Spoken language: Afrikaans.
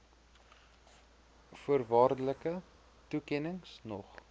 voorwaardelike toekennings nog